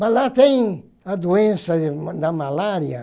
Mas lá tem a doença da malária.